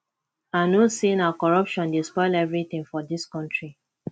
i know sey na corruption dey spoil everytin for dis country